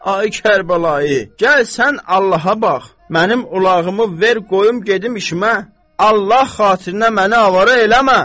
Ay Kərbəlayı, gəl sən Allaha bax, mənim ulağımı ver qoyum gedim işimə, Allah xatirinə məni avara eləmə!